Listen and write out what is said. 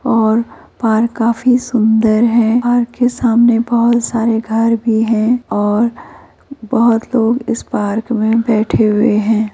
और पार्क काफी सुन्दर है और पार्क के सामने बहोत सारे घर भी हैं और बहोत लोग इस पार्क में बैठे हुए हैं |